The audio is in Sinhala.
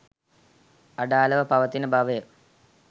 අඩාළව පවතින බවය.